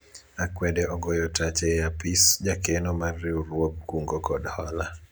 akwede ogoyo tach e apis jakeno mar riwruog kungo kod hola